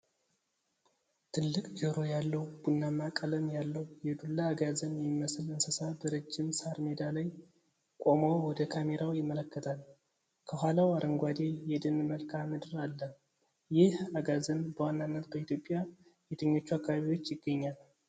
ትልቅ ጆሮ ያለው፣ ቡናማ ቀለም ያለው የዱላ አጋዘን የሚመስል እንስሳ በረጅም ሳር ሜዳ ላይ ቆሞ ወደ ካሜራው ይመለከታል። ከኋላው አረንጓዴ የደን መልክአ ምድር አለ። ይህ አጋዘን በዋናነት በኢትዮጵያ የትኞቹ አካባቢዎች ይገኛል?